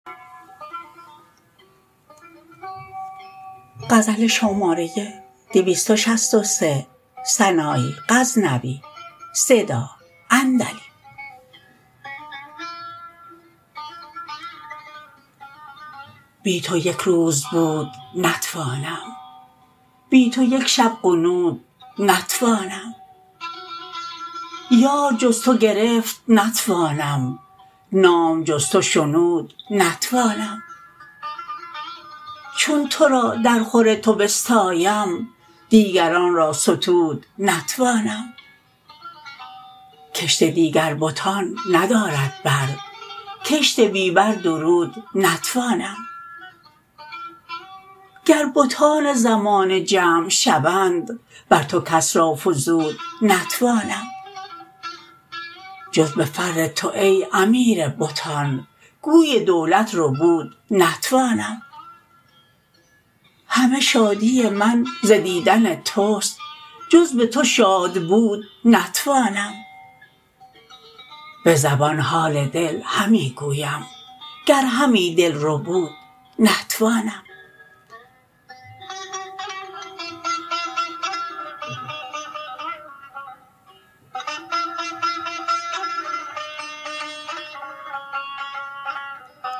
بی تو یک روز بود نتوانم بی تو یک شب غنود نتوانم یار جز تو گرفت نتوانم نام جز تو شنود نتوانم چون ترا در خور تو بستایم دیگران را ستود نتوانم کشت دیگر بتان ندارد بر کشت بی بر درود نتوانم گر بتان زمانه جمع شوند بر تو کس را فزود نتوانم جز به فر تو ای امیر بتان گوی دولت ربود نتوانم همه شادی من ز دیدن تست جز به تو شاد بود نتوانم به زبان حال دل همی گویم گر همی دل ربود نتوانم